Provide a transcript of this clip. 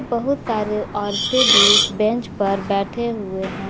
बहुत सारे औरतें भी उस बेंच पर बैठे हुए हैं।